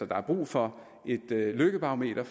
der er brug for et lykkebarometer